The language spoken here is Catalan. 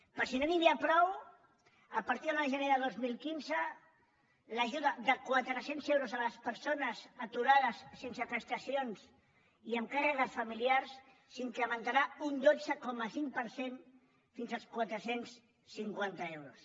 per si no n’hi havia prou a partir de l’un de gener de dos mil quinze l’ajuda de quatre cents euros a les persones aturades sense prestacions i amb càrregues familiars s’incrementarà un dotze coma cinc per cent fins als quatre cents i cinquanta euros